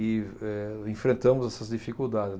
E, eh, enfrentamos essas dificuldades.